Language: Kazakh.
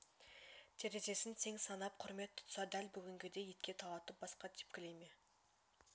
терезесін тең санап құрмет тұтса дәл бүгінгідей итке талатып басқа тепкілей ме